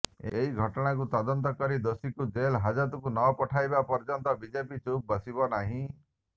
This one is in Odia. ଏହି ଘଟଣାକୁ ତଦନ୍ତ କରି ଦୋଷୀଙ୍କୁ ଜେଲ୍ ହାଜତକୁ ନପଠାଇବା ପର୍ଯ୍ୟନ୍ତ ବିଜେପି ଚୁପ୍ ବସିବ ନାହିଁ